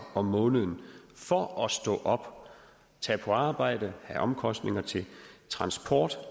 om måneden for at stå op tage på arbejde have omkostninger til transport